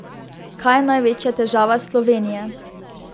Kaj je največja težava Slovenije?